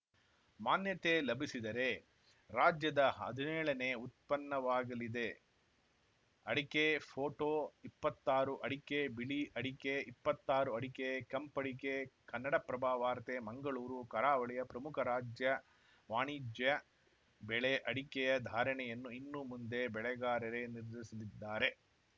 ಮಾನ್ಯತೆ ಲಭಿಸಿದರೆ ರಾಜ್ಯದ ಹದಿನೇಳನೆ ಉತ್ಪನ್ನವಾಗಲಿದೆ ಅಡಿಕೆ ಫೋಟೋ ಇಪ್ಪತ್ತಾರು ಅಡಿಕೆಬಿಳಿ ಅಡಿಕೆ ಇಪ್ಪತ್ತಾರು ಅಡಿಕೆ ಕೆಂಪಡಿಕೆ ಕನ್ನಡಪ್ರಭ ವಾರ್ತೆ ಮಂಗಳೂರು ಕರಾವಳಿಯ ಪ್ರಮುಖ ರಾಜ್ಯ ವಾಣಿಜ್ಯ ಬೆಳೆ ಅಡಿಕೆಯ ಧಾರಣೆಯನ್ನು ಇನ್ನು ಮುಂದೆ ಬೆಳೆಗಾರರೇ ನಿರ್ಧರಿಸಲಿದ್ದಾರೆ